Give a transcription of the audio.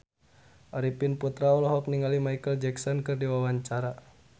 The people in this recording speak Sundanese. Arifin Putra olohok ningali Micheal Jackson keur diwawancara